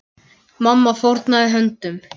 Mamma fórnaði höndum.